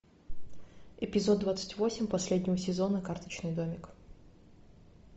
эпизод двадцать восемь последнего сезона карточный домик